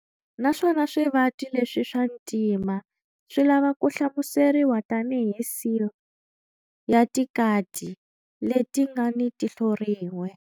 Naswona swivati leswi swa ntima swi lava ku hlamuseriwa tanihi seal ya tikati leti nga ni tihlo rin'we.